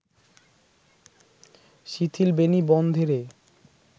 শিথিল বেণী বন্ধে রে